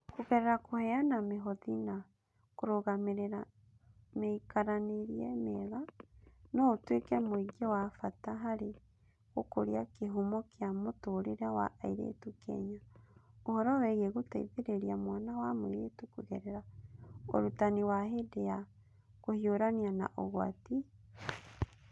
Kũgerera kũheana mĩhothi na kũrũgamĩrĩra mĩikaranĩrie mĩega, no ũtuĩke mũingĩ wa bata harĩ gũkũria kĩhumo kĩa mũtũũrĩre wa airĩtu Kenya. Ũhoro wĩgiĩ gũteithĩrĩria mwana wa mũirĩtu kũgerera Ũrutani wa hĩndĩ ya kũhiũrania na ũgwati (EiE)